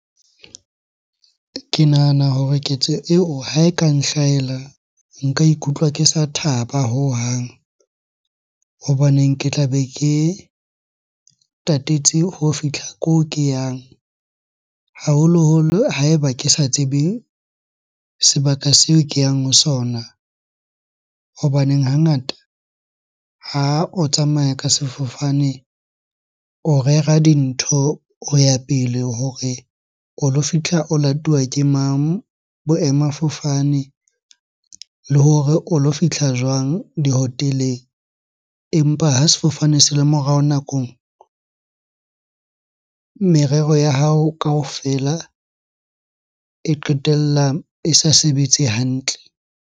Ke nahana hore ketso eo ha e ka nhlahela, nka ikutlwa ke sa thaba hohang. Hobaneng ke tlabe ke tatetse ho fihla ko ke yang, haholoholo ha eba ke sa tsebeng sebaka seo ke yang ho sona. Hobaneng hangata ha o tsamaya ka sefofane, o rera dintho ho ya pele hore o lo fitlha o latuwa ke mang boemafofane? Le hore o lo fihla jwang dihoteleng? Empa ha sefofane se morao nakong, merero ya hao kaofela e qetella e sa sebetse hantle.